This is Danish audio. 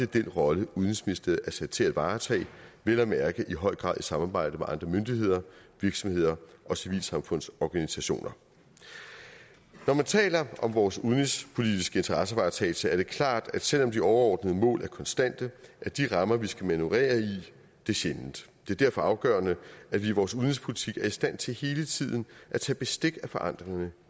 den rolle udenrigsministeriet er sat til at varetage vel at mærke i høj grad i samarbejde med andre myndigheder virksomheder og civilsamfundsorganisationer når man taler om vores udenrigspolitiske interessevaretagelse er det klart at selv om de overordnede mål er konstante er de rammer vi skal manøvrere i det sjældent det er derfor afgørende at vi i vores udenrigspolitik er i stand til hele tiden at tage bestik af forandringerne